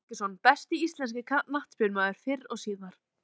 Heiðar Helguson Besti íslenski knattspyrnumaðurinn fyrr og síðar?